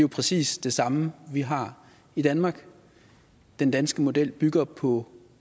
præcis det samme vi har i danmark den danske model bygger på